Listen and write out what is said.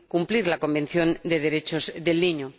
Es cumplir la Convención de los Derechos del Niño.